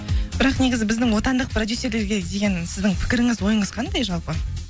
бірақ негізі біздің отандық продюссерлерге деген сіздің пікіріңіз ойыңыз қандай жалпы